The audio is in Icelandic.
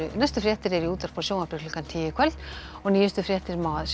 næstu fréttir eru í útvarpi og sjónvarpi klukkan tíu í kvöld og nýjustu fréttir má